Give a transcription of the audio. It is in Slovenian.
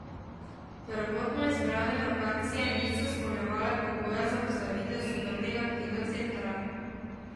Prvotno izbrane lokacije niso izpolnjevale pogojev za postavitev sodobnega kino centra.